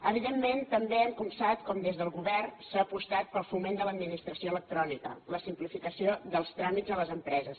evidentment també hem copsat com des del govern s’ha apostat pel foment de l’administració electrònica la simplificació dels tràmits a les empreses